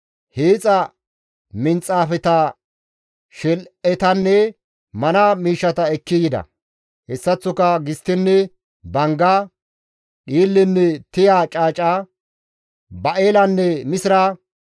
hiixa minxaafeta, shel7etanne mana miishshata ekki yida; hessaththoka gisttenne bangga, dhiillenne tiya caaca; ba7elanne misira,